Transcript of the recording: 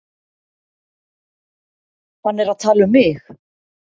Hann er að tala um mig.